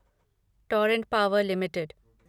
Torrent Power limited